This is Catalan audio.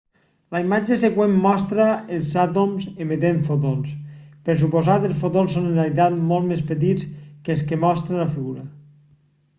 la imatge següent mostra els àtoms emetent fotons per suposat els fotons són en realitat molt més petits que els que mostra la figura